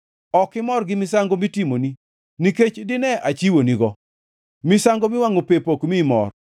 Ok imor gi misango mitimoni, nikech dine achiwonigo; misango miwangʼo pep ok miyi mor.